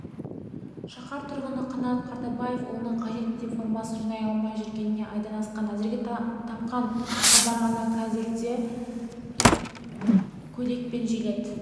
шаһар тұрғыны қанат қартабаев ұлына қажет мектеп формасын жинай алмай жүргеніне айдан асқан әзірге тапқаны шалбар ғана қазірде көйлек пен жилет